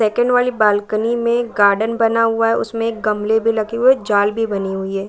Second वाली balcony में garden बना हुआ है उसमें एक गमले भी लगे हुए हैं जाल भी बनी हुई है।